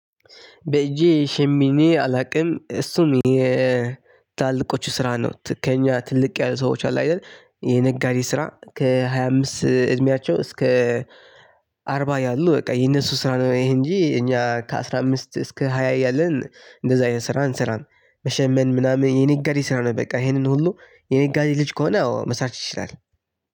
በእጄ ሸምኔ አላውቅም እሱ የታላላቆቹ ስራ ነው ከእኛ ትልቅ ያሉ ሰዎች አሉ አይደል የነጋዴ ስራ ከሃያ አምስት እድሜያቸው እስከ አርባ ያሉ በቃ የነሱ ስራ ነው። ይሄ እንጂ እኛ ከአስራ አምስት እስከ ሃያ እያለን እንደዛ ይሄን ስራ እንሰራም። መሸመን ምናምን የኔ የነጋዴ ስራ ነው። በቃ ይሄንን ሁሉ የነጋዴ ልጅ ከሆነ አዎ መስራት ይችላል።